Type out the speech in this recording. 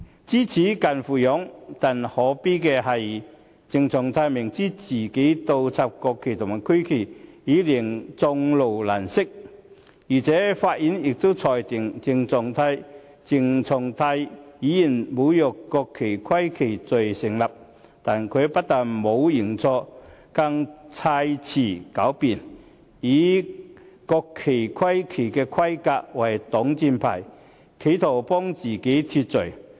知耻近乎勇，但可悲的是，鄭松泰明知自己倒插國旗和區旗已令眾怒難息，而且法院亦裁定鄭松泰侮辱國旗及區旗罪成，但他不但沒有認錯，更砌詞狡辯，以國旗區旗的規格為擋箭牌，企圖為自己脫罪。